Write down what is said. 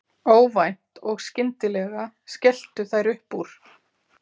Óvænt og skyndilega skelltu þær upp úr.